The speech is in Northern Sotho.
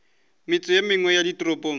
metse ye mengwe ya ditoropong